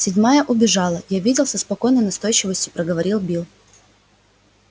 седьмая убежала я видел со спокойной настойчивостью проговорил билл